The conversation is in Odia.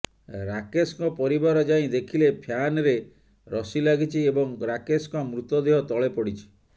ରାକେଶଙ୍କ ପରିବାର ଯାଇ ଦେଖିଲେ ଫ୍ୟାନ୍ରେ ରଶି ଲାଗିଛି ଏବଂ ରାକେଶଙ୍କ ମୃତଦେହ ତଳେ ପଡ଼ିଛି